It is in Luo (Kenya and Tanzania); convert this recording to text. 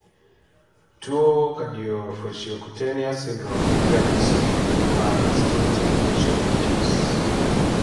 tuwo Cardiofaciocutaneous syndrome nigi ranyisi mar distinctive facial features